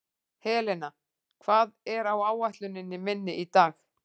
Helena, hvað er á áætluninni minni í dag?